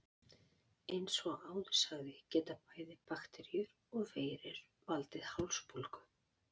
Eins og áður sagði geta bæði bakteríur og veirur valdið hálsbólgu.